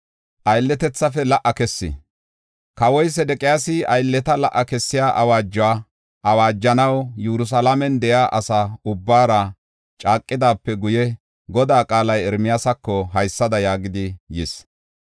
Kawoy Sedeqiyaasi aylleta la77a kessiya awaajuwa awaajanaw Yerusalaamen de7iya asa ubbaara caaqidaape guye, Godaa qaalay Ermiyaasako haysada yaagidi yis: